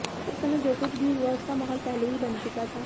उस समय जो कुछ भी हुआ उसका माहौल पहले ही बन चुका था